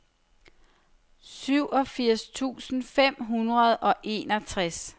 syvogfirs tusind fem hundrede og enogtres